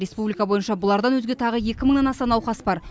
республика бойынша бұлардан өзге тағы екі мыңнан аса науқас бар